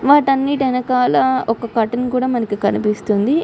వాటి అన్నిటి ఎనకాల ఒక క్యూర్టీనీ కూడా మనకి కనిపిస్తుంది.